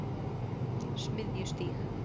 Smiðjustíg